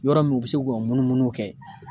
Yɔrɔ min u bi se k'u ka munumunu kɛ